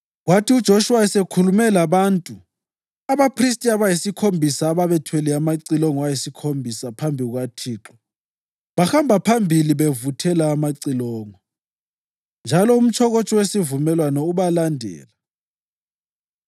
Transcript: Kwathi uJoshuwa esekhulume labantu, abaphristi abayisikhombisa ababethwele amacilongo ayisikhombisa phambi kukaThixo bahamba phambili bevuthela amacilongo, njalo umtshokotsho wesivumelwano ubalandela.